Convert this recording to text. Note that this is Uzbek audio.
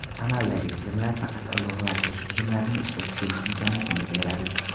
Amaldagi tizimlar faqat ogohlantirish tizimlarini ishga tushirish imkoniyatini beradi.